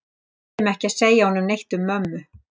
Ég kæri mig ekki um að segja honum neitt um mömmu.